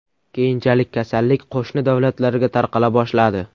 Keyinchalik kasallik qo‘shni davlatlarga tarqala boshladi.